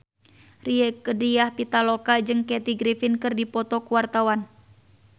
Rieke Diah Pitaloka jeung Kathy Griffin keur dipoto ku wartawan